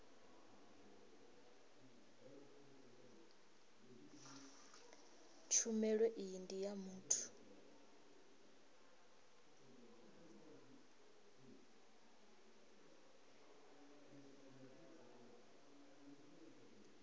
tshumelo iyi ndi ya muthu